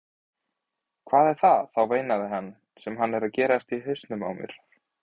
Hvað er það þá veinaði hann, sem er að gerast í hausnum á mér?